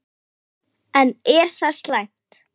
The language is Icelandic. En er það slæmt?